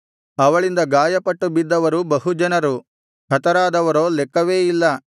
ಅವಳಿಂದ ಗಾಯಪಟ್ಟು ಬಿದ್ದವರು ಬಹು ಜನರು ಹತರಾದವರೋ ಲೆಕ್ಕವೇ ಇಲ್ಲ